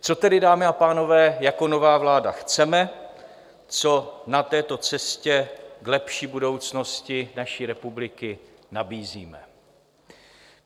Co tedy, dámy a pánové, jako nová vláda chceme, co na této cestě k lepší budoucnosti naší republiky nabízíme?